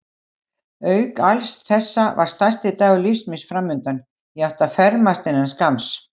Auk alls þessa var stærsti dagur lífs míns framundan: ég átti að fermast innan skamms.